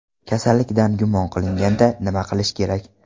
Kasallikdan gumon qilinganda nima qilish kerak?